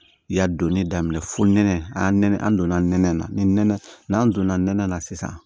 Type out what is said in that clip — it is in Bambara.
Yan donni daminɛ fo nɛnɛ an donna nɛnɛ na ni nɛnɛ n'an donna nɛnɛ na sisan